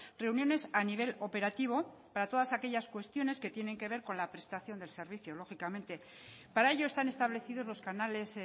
reuniones a nivel operativo para todas aquellas cuestiones que tienen que ver con la prestación del servicio lógicamente para ello están establecidos los canales